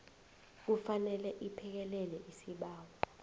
kufanele iphekelele isibawo